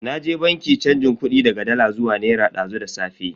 Naje banki chanjin kudi daga dala zuwa naira dazu da safe.